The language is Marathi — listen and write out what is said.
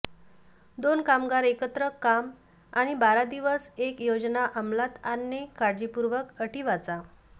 दोन कामगार एकत्र काम आणि बारा दिवस एक योजना अमलात आणणे काळजीपूर्वक अटी वाचा